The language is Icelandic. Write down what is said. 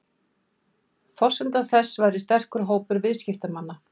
Forsenda þess væri sterkur hópur viðskiptamanna